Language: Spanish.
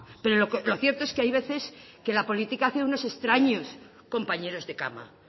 pero lo cierto es que hay veces que la política hace unos extraños compañeros de cama